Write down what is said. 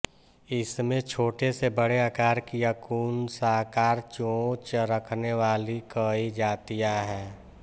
इसमें छोटे से बड़े आकार की अंकुशाकार चोंच रखने वाली कई जातियाँ हैं